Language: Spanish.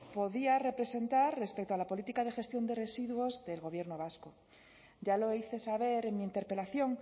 podía representar respecto a la política de gestión de residuos del gobierno vasco ya lo hice saber en mi interpelación